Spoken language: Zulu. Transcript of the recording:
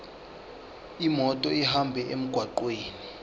imoto ihambe emgwaqweni